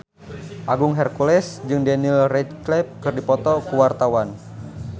Agung Hercules jeung Daniel Radcliffe keur dipoto ku wartawan